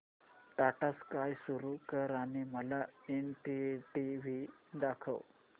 Tata Sky सुरू कर आणि मला एनडीटीव्ही दाखव